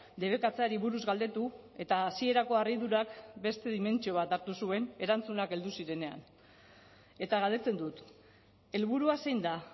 debekatzeari buruz galdetu eta hasierako harridurak beste dimentsio bat hartu zuen erantzunak heldu zirenean eta galdetzen dut helburua zein da